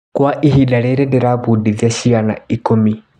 Kwa ihinda rĩrĩ ndĩrabundithia ciana ikũmi.